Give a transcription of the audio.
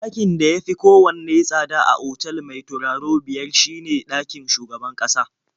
Ɗakin da ya fi kowanne tsada a otal mai turaro biyar shine ɗakin shugaban ƙasa.